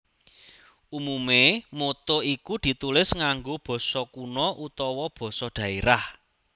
Umume motto iku ditulis nganggo basa kuna utawa basa dhaerah